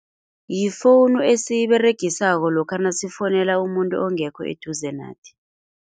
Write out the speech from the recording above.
Yifowunu esiyiberegisako lokha nasifowunela umuntu ongekho eduze nathi.